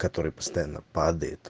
который постоянно падает